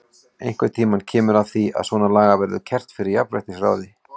Einhvern tímann kemur að því að svona lagað verður kært fyrir jafnréttisráði.